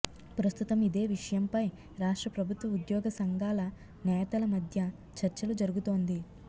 ప్రస్తుతం ఇదే విషయంపై రాష్ట్రప్రభుత్వ ఉద్యోగ సంఘాల నేతల మధ్య చర్చలు జరుగుతోంది